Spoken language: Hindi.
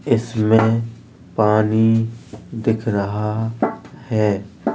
इसमें पानी दिख रहा है।